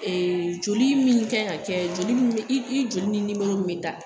Ee joli min k'an ka kɛ, joli min i joli ni nimɔrɔ min ka kan.